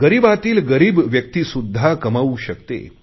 गरीबातील गरीब व्यक्तीसुध्दा कमावू शकते